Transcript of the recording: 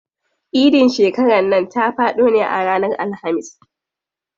Idin shekaran nan ta faɗo ne a ranar Alhamis.